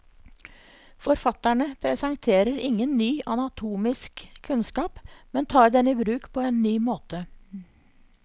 Forfatterne presenterer ingen ny anatomisk kunnskap, men tar den i bruk på en ny måte.